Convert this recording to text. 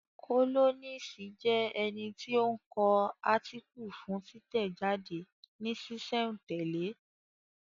Kólọ́nisi jẹ́ ẹni tí ó ń kọ átíkù fún títẹ̀ jáde ní sísẹ̀ n tẹ̀lẹ́